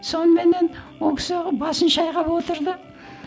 соныменен ол кісі басын шайқап отырды